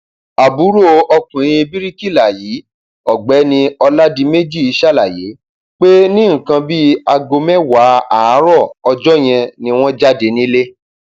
àbúrò ọkùnrin bíríkìlà yìí ọgbẹni ọládèméjì ṣàlàyé pé ní nǹkan bíi aago mẹwàá àárọ ọjọ yẹn ni wọn jáde nílẹ